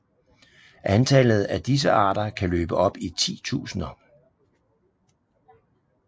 Antallet af disse arter kan løbe op i titusinder